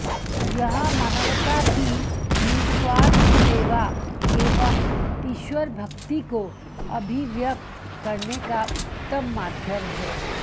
यह मानवता की निःस्वार्थ सेवा एवं ईश्वर भक्ति को अभिव्यक्त करने का उत्तम माध्यम है